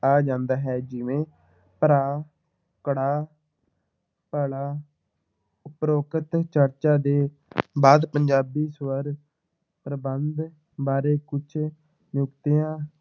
ਆ ਜਾਂਦਾ ਹੈ ਜਿਵੇਂ ਭਰਾ ਕੜਾਹ ਭਲਾ ਉਪਰੋਕਤ ਚਰਚਾ ਦੇ ਬਾਅਦ ਪੰਜਾਬੀ ਸਵਰ ਪ੍ਰਬੰਧ ਬਾਰੇ ਕੁਛ ਨੁਕਤਿਆਂ